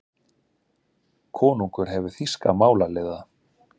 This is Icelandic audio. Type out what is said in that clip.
Konungur hefur þýska málaliða.